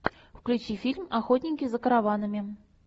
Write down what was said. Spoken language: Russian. включи фильм охотники за караванами